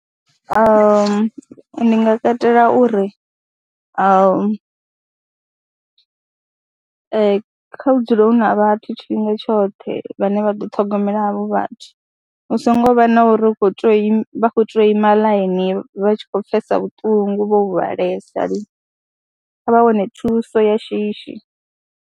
Ndi nga katela uri ha kha hu dzule hu na vhathu tshifhinga tshoṱhe vhane vha ḓo ṱhogomela havho vhathu, hu songo vha na uri hu khou tou ima vha khou tea u ima ḽainini vha tshi khou pfhesa vhuṱungu vho huvhalesa, kha vha wane thuso ya shishi.